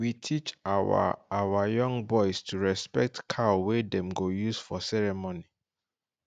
we teach our our young boys to respect cow wey dem go use for ceremony